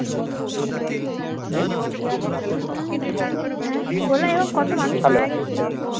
অ্যাঁ বললা এরকম কত মানুষ মারা গেছিল